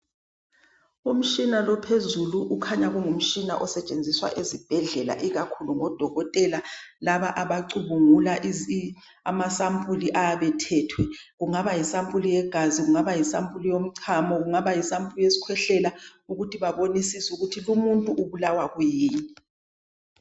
Umshina no ophezulu kukhanya kungumshina osetshenziswa ezibhedlela ikakhulu ngodokotela laba abacubungula amasampuli ayabe ethethwe kungaba yisampuli yegazi kungaba yisampuli yomchamo kungaba yisampuli yeskhwehlela ukuthi babone isisu ukuthi lomuntu ubulawa kuyini.